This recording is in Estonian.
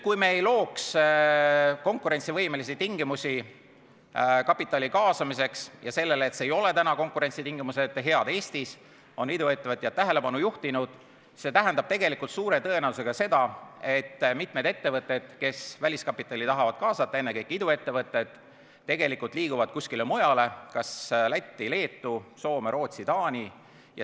Kui me ei looks konkurentsivõimelisi tingimusi kapitali kaasamiseks – sellele, et konkurentsitingimused ei ole Eestis head, on iduettevõtjad tähelepanu juhtinud –, siis see tähendaks suure tõenäosusega seda, et mitmed ettevõtted, kes väliskapitali tahavad kaasata, ennekõike iduettevõtted, liiguksid kuskile mujale: Lätti, Leetu, Soome, Rootsi, Taani.